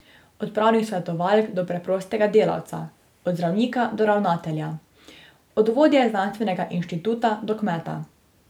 Od pravnih svetovalk do preprostega delavca, od zdravnika do ravnatelja, od vodje znanstvenega inštituta do kmeta.